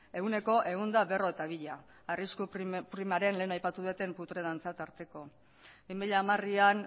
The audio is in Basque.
ehuneko ehun eta berrogeita bia arrisku primaren lehen aipatu dudan putre dantza tarteko bi mila hamarean